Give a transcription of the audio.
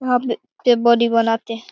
वहां पे पे बॉडी बनाते है।